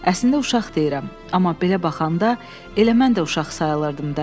Əslində uşaq deyirəm, amma belə baxanda elə mən də uşaq sayılırdım da.